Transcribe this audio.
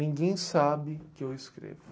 Ninguém sabe que eu escrevo.